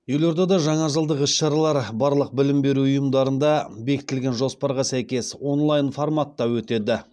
елордада жаңа жылдық іс шаралар барлық білім беру ұйымдарында бекітілген жоспарға сәйкес онлайн форматта өтеді